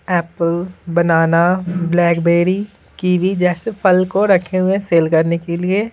Apple banana blackberry kiwi जैसे फल को रखे हुए हैं सेल करने के लिए।